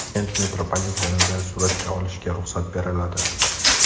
Toshkent metropolitenida suratga olishga ruxsat beriladi .